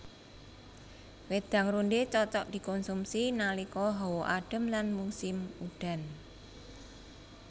Wédang rondhé cocok dikonsumsi nalika hawa adem lan musim udan